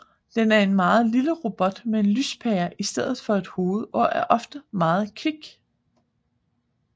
Den er en lille robot med en lyspære i stedet for et hoved og er ofte meget kvik